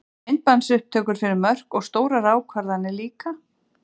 Myndbandsupptökur fyrir mörk og stórar ákvarðanir líka?